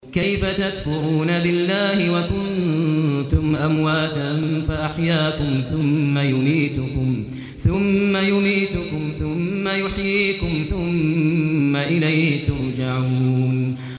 كَيْفَ تَكْفُرُونَ بِاللَّهِ وَكُنتُمْ أَمْوَاتًا فَأَحْيَاكُمْ ۖ ثُمَّ يُمِيتُكُمْ ثُمَّ يُحْيِيكُمْ ثُمَّ إِلَيْهِ تُرْجَعُونَ